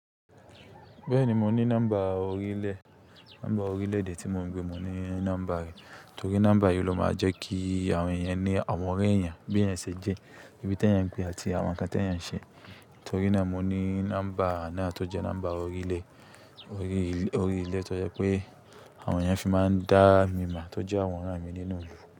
Bẹ́ẹ̀ni, mo ní nọ́mbà orílẹ̀, nọ́mbà orílẹ̀-èdè tí mo ń gbé. Mo ní nọ́mbà rẹ̀, torí nọ́mbà yìí ló máa jẹ́ kí àwọn èèyàn ní àwọn ọ̀rẹ́ èèyàn, bí èèyàn ṣe jẹ́, ibi tí èèyàn ń gbé àti àwọn nǹkan tí èèyàn ń ṣe. Torí náà mo ní nọ́mbà náà tó jẹ́ nọ́mbà orílẹ̀, orí orílẹ̀ tó jẹ́ pé àwọn èèyàn fi máa ń dá mi mọ̀, tó jẹ́ àwọn ọ̀rẹ́ mi nínú ìlú.